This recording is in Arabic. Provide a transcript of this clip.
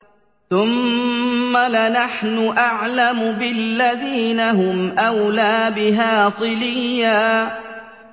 ثُمَّ لَنَحْنُ أَعْلَمُ بِالَّذِينَ هُمْ أَوْلَىٰ بِهَا صِلِيًّا